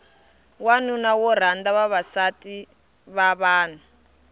wanuna wo rhanda vavasativa vanhu